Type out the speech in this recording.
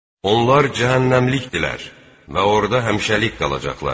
Onlar cəhənnəmlikdirlər və orda həmişəlik qalacaqlar.